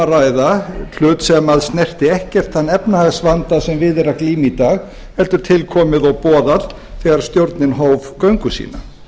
ræða hlut sem snerti ekkert þann efnahagsvanda sem við er að glíma í dag heldur til komið og boðað þegar stjórnin hóf göngu sína